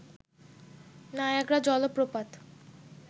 Niagara জলপ্রপাত